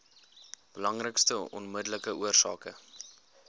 belangrikste onmiddellike oorsake